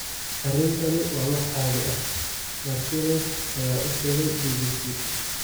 "Arrintani waa wax caadi ah," Martínez ayaa u sheegay BBC.